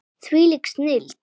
Þvílík snilld.